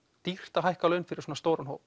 dýrt að hækka laun fyrir svona stóran hóp